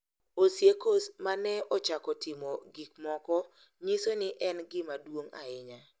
Osiekos ma ne ochako timo gik moko nyiso ni en gima duong’ ahinya .